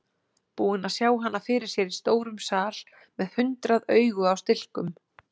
Búinn að sjá hana fyrir sér í stórum sal með hundrað augu á stilkum.